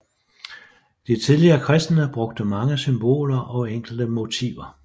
De tidlige kristne brugte mange symboler og enkle motiver